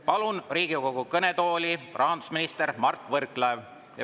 Palun Riigikogu kõnetooli, rahandusminister Mart Võrklaev!